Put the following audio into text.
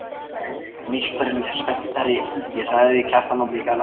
Meistarinn er spenntari en ég, sagði Kjartan og blikkaði Lárus.